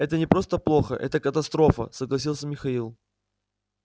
это не просто плохо это катастрофа согласился михаил